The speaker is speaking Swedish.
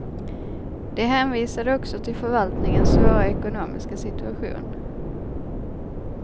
De hänvisade också till förvaltningens svåra ekonomiska situation.